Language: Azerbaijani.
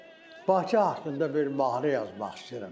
Mən də Bakı haqqında bir mahnı yazmaq istəyirəm.